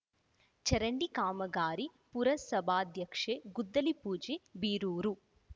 edited ಚರಂಡಿ ಕಾಮಗಾರಿ ಪುರಸಭಾಧ್ಯಕ್ಷೆ ಗುದ್ದಲಿ ಪೂಜೆ ಬೀರೂರು